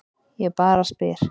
Ég bara spyr.